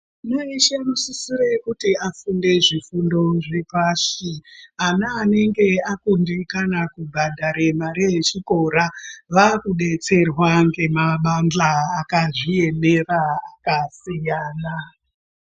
Nguva yeshe anosisire kuti afunde zvifundo zvepashi, ana anenge akundikana kubhadhare mare yechikora, vakudetserwa ngemabandhla akadziemera akasiyana.